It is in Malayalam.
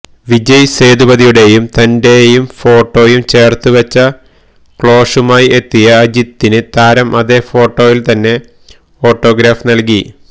വിജയ് സേതുപതിയുടേയും തന്റെയും ഫോട്ടോയും ചേര്ത്തുവെച്ച കൊളാഷുമായി എത്തിയ അജിത്തിന് താരം അതേ ഫോട്ടോയില് തന്നെ ഓട്ടോഗ്രാഫ് നല്കി